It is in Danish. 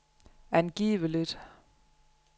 angiveligt